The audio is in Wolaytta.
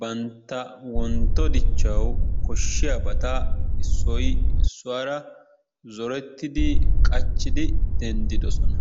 bantta wontto dichchawu koshshiyaabata issoy issuwaara zorettidi qachchidi denddidosona.